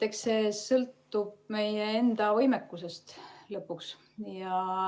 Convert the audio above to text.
Eks see sõltub lõpuks meie enda võimekusest.